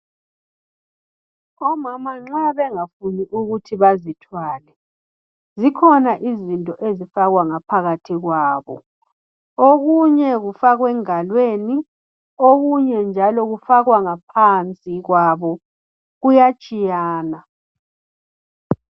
Omama nxa bengafuni ukuthi bezithwale zikhona izinto ezifakwa ngaphakathi kwabo okunye kufakwa engalweni okunye njalo kufakwa ngaphakathi kwabo kuyatshiyana.